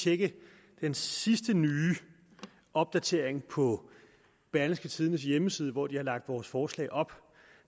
tjekke den sidste nye opdatering på berlingske tidendes hjemmeside hvor de har lagt vores forslag op